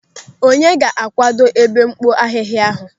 Onye ga-akwado ebe mkpo ahịhịa ahụ?